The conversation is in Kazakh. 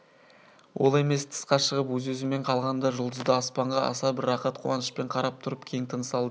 ол емес тысқа шығып өз-өзімен қалғанда жұлдызды аспанға аса бір рақат қуанышпен қарап тұрып кең тыныс алды